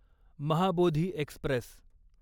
Mahabodhi Express